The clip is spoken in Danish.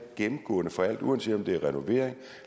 gennemgående for alt uanset om det er renovering